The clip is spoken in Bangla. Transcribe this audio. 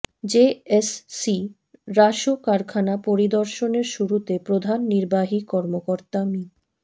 জেএসসি রাসু কারখানা পরিদর্শনের শুরুতে প্রধান নির্বাহী কর্মকর্তা মি